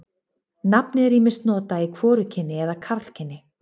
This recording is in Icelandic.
Nafnið er ýmist notað í hvorugkyni eða karlkyni.